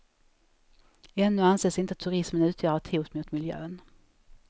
Ännu anses inte turismen utgöra ett hot mot miljön.